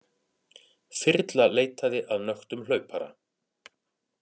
Þyrla leitaði að nöktum hlaupara